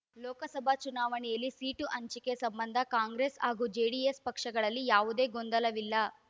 ಲೋಕಸಭಾ ಚುನಾವಣೆಯಲ್ಲಿ ಸೀಟು ಹಂಚಿಕೆ ಸಂಬಂಧ ಕಾಂಗ್ರೆಸ್ ಹಾಗೂ ಜೆಡಿಎಸ್ ಪಕ್ಷಗಳಲ್ಲಿ ಯಾವುದೇ ಗೊಂದಲವಿಲ್ಲ